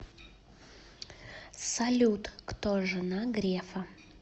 салют кто жена грефа